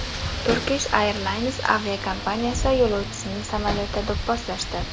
Turkish Airlines aviakompaniyasi yo‘lovchisini samolyotda do‘pposlashdi .